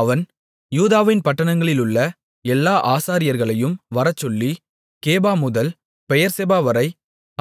அவன் யூதாவின் பட்டணங்களிலுள்ள எல்லா ஆசாரியர்களையும் வரச்சொல்லி கேபாமுதல் பெயெர்செபாவரை